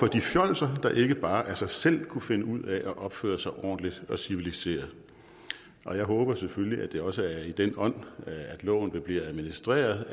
de fjolser der ikke bare af sig selv kunne finde ud af at opføre sig ordentligt og civiliseret og jeg håber selvfølgelig at det også er i den ånd at loven her vil blive administreret